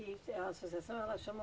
A associação ela chama